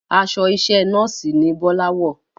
Aṣọ iṣẹ́ nọ́ọ̀sì ni Bọ́lá wọ̀